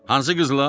Hansı qızla?